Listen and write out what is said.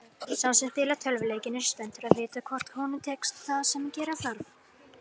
Sá sem spilar tölvuleikinn er spenntur að vita hvort honum tekst það sem gera þarf.